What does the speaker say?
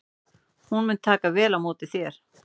Hún mun taka vel á móti þér.